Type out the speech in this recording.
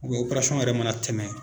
yɛrɛ mana tɛmɛ.